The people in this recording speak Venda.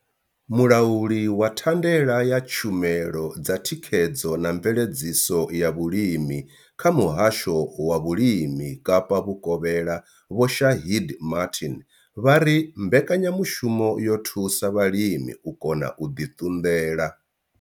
Mulauli wa thandela ya tshumelo dza thikhedzo na mveledziso ya vhulimi kha muhasho wa vhulimi Kapa vhukovhela Vho Shaheed Martin vha ri mbekanyamushumo yo thusa vhalimi u kona u ḓi ṱunḓela.